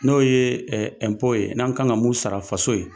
N'o ye ye n'an ka kan ka mun sara faso ye.